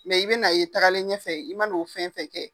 i bɛn'a ye tagalen ɲɛfɛ i man'o fɛn fɛn kɛ.